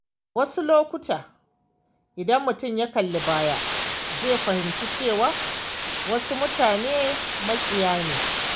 Wasu lokuta, idan mutum ya kalli baya, zai fahimci cewa wasu mutanen maƙiya ne.